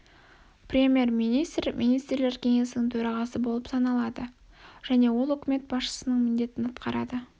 премьер-министр министрлер кеңесінің төрағасы болып саналады және ол үкімет басшысының міндетін атқарады